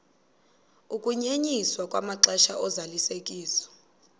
ukunyenyiswa kwamaxesha ozalisekiso